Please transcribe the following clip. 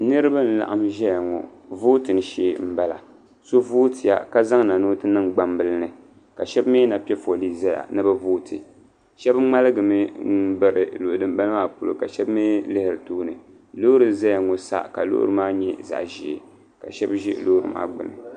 Niriba n laɣim ʒɛya ŋɔ vootin shee n bala so vootiya ka zaŋ na ni o ti niŋ? gbambila ni ka shɛba mi na piɛ foolii ʒɛya ni bi vooti shɛba ŋmaligi mi n biri luɣu din bala maa polo ka shɛba mi lihiri tooni loori n zaya ŋɔ sa ka loori maa nyɛ zaɣa ʒee ka ʒɛ loori maa gbuni.